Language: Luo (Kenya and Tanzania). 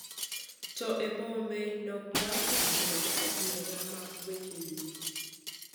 To e bombe, nok mar udi kod adier mag weche yuto .